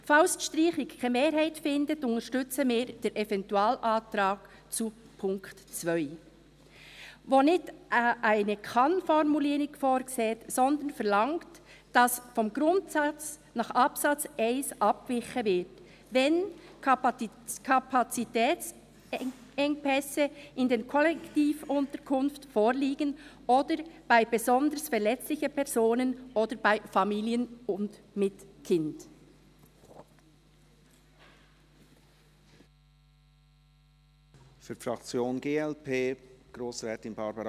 Falls die Streichung keine Mehrheit findet, unterstützen wir den Eventualantrag zu Punkt 2, welcher keine KannFormulierung vorsieht, sondern verlangt, dass vom Grundsatz nach Absatz 1 abgewichen wird, wenn «[...] Kapazitätsengpässe[n] in den Kollektivunterkünften» vorliegen oder «für besonders verletzliche[n] Personen» oder «für Familien mit Kindern».